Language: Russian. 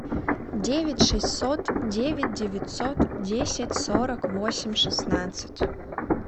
девять шестьсот девять девятьсот десять сорок восемь шестнадцать